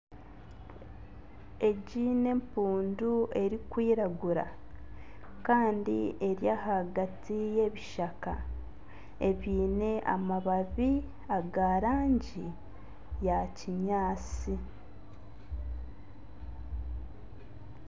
Egi n'empundu erikwiragura Kandi eri ahagati y'ebishaka ebyine amababi ag'erangi ya kinyaantsi.